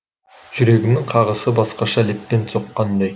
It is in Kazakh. жүрегімнің қағысы басқаша леппен соққандай